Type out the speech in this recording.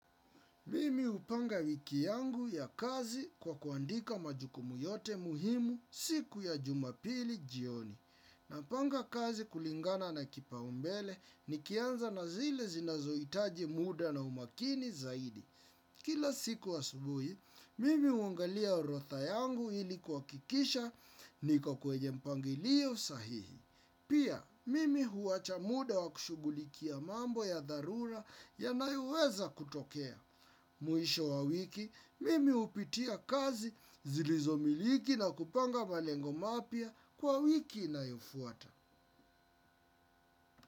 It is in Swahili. Mimi hupanga wiki yangu ya kazi kwa kuandika majukumu yote muhimu siku ya jumapili jioni. Napanga kazi kulingana na kipaumbele nikianza na zile zinazohitaji muda na umakini zaidi. Kila siku asubuhi, mimi huangalia orodha yangu ili kuhakikisha niko kwenye mpangilio sahihi. Pia, mimi huwacha muda wa kushughulikia mambo ya dharura yanayoweza kutokea. Mwisho wa wiki, mimi hupitia kazi zilizomiliki na kupanga malengo mapya kwa wiki inayofuata.